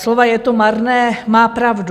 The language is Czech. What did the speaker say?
Slova je to marné - má pravdu.